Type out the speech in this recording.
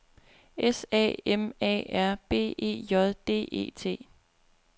S A M A R B E J D E T